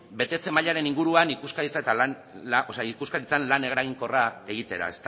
betetze mailaren inguruan ikuskaritzan lan eraginkorra egitera